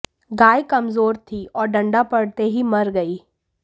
गाय कमजोर थी और डंडा पड़ते ही मर गई